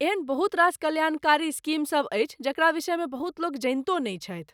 एहन बहुत रास कल्याणकारी स्कीमसभ अछि जकरा विषयमे बहुत लोक जनितो नहि छथि।